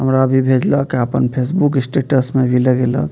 हमरा भी भेजलक अ अपन फेसबुक स्टेटस में भी लगेलक।